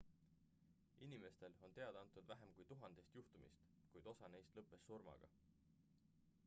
inimestel on teada antud vähem kui tuhandest juhtumist kuid osa neist lõppes surmaga